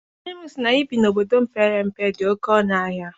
Nne m sị na ibi na obodo mepere emepe dị oké ọnụ ahịa.